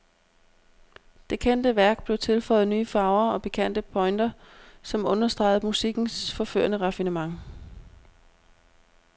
Det kendte værk blev tilføjet nye farver og pikante pointer, som understregede musikkens forførende raffinement.